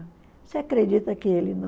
Você acredita que ele